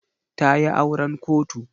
Ta yi auren kotu.